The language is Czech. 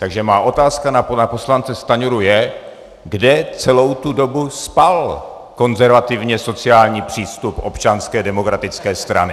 Takže má otázka na poslance Stanjuru je, kde celou tu dobu spal konzervativně sociální přístup Občanské demokratické strany.